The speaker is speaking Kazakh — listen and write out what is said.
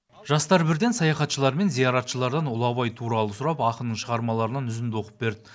жастар бірден саяхатшылар мен зияратшылардан ұлы абай туралы сұрап ақынның шығармаларынан үзінді оқып берді